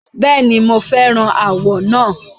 Bẹ́ẹ̀ni, mo fẹ́ràn àwọ̀ náà.